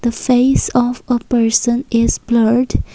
the face of a person is blurred.